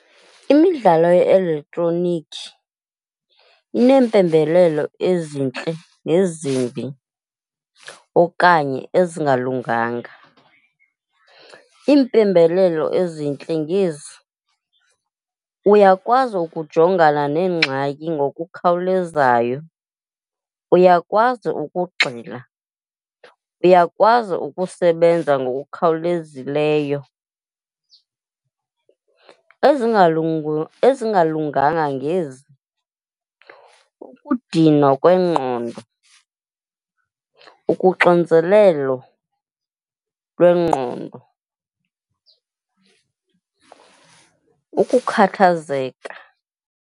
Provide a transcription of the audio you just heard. Imidlalo ye-elektroniki iinempembelelo ezintle nezimbi okanye ezingalunganga. Iimpembelelo ezintle ngezi, uyakwazi ukujongana neengxaki ngokukhawulezayo, uyakwazi ukugxila, uyakwazi ukusebenza ngokukhawulezileyo. Ezingalunganga ngezi, ukudinwa kwengqondo, ukuxinzelelo lwengqondo, ukukhathazeka.